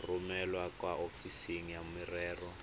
romele kwa ofising ya merero